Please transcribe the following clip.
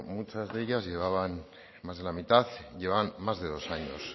muchas de ellas más de la mitad llevaban más de dos años